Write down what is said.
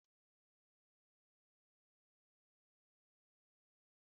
Enwere ite spugeetí i esiri esi na kichin